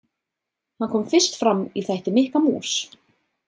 Hann kom fyrst fram í þætti Mikka mús.